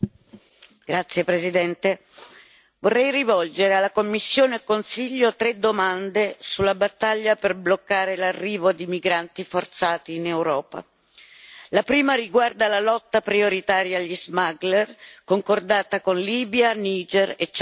Signor Presidente, onorevoli colleghi, vorrei rivolgere alla Commissione e al Consiglio tre domande sulla battaglia per bloccare l'arrivo di migranti forzati in Europa. La prima riguarda la lotta prioritaria agli smuggler concordata con Libia, Niger e Ciad.